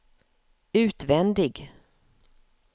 utvändig